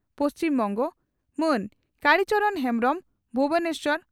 ᱯᱹᱵᱹ) ᱢᱟᱱ ᱠᱟᱲᱤ ᱪᱚᱨᱚᱬ ᱦᱮᱢᱵᱽᱨᱚᱢ (ᱵᱷᱩᱵᱚᱱᱮᱥᱚᱨ